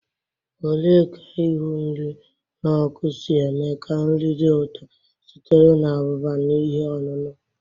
Ole ka Ihu nri n'oku si eme ka nri dị ụtọ sitere na abụba na ihe ọṅụṅụ?